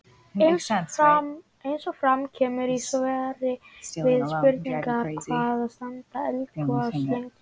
Eins og fram kemur í svari við spurningunni Hvað standa eldgos lengi?